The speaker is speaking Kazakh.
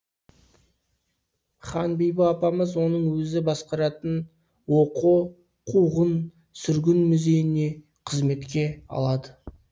ханбибі апамыз оны өзі басқаратын оқо қуғын сүргін музейіне қызметке алады